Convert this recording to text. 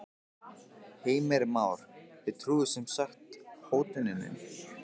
Heimir Már: Þið trúið sem sagt hótuninni?